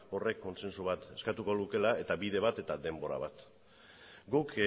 horrek kontsensu bat eskatuko lukeela eta bide bat eta denbora bat guk